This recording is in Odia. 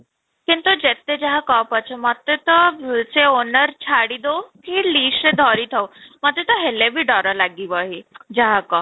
କିନ୍ତୁ ଯେତେ ଯାହା କହ ପଛେ ମୋତେ ତ ଓ ସେ owner ଛାଡି ଦେଉ କି ସେ ଧରି ଥାଉ ମୋତେ ତ ହେଲେ ବି ଦ୍ୱାରା ଲାଗିବ ହିଁ ଯାହା କହ